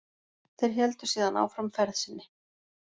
Þeir héldu síðan áfram ferð sinni.